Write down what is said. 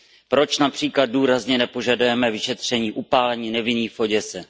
Proč například důrazně nepožadujeme vyšetření upálení nevinných v Oděse?